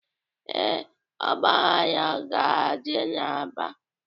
Ee, ọgbaghara ga-adị n'Aba.